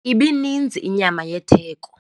Ibininzi inyama yetheko.